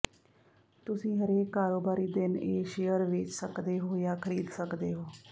ਤੁਸੀਂ ਹਰੇਕ ਕਾਰੋਬਾਰੀ ਦਿਨ ਇਹ ਸ਼ੇਅਰ ਵੇਚ ਸਕਦੇ ਹੋ ਜਾਂ ਖਰੀਦ ਸਕਦੇ ਹੋ